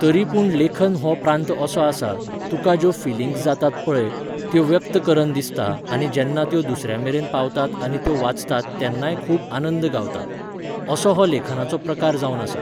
तरी पूण लेखन हो प्रांत असो आसा, तुकां ज्यो फिलिंग्स जातात पळय, त्यो व्यक्त करन दिसता आनी जेन्ना त्यो दुसऱ्यामेरेन पावतात आनी त्यो वाचतात तेन्नाय खूब आनंद गावता. असो हो लेखनाचो प्रकार जावन आसा.